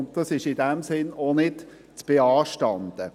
In diesem Sinne ist es auch nicht zu beanstanden.